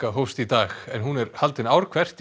hófst í dag en hún er haldin ár hvert í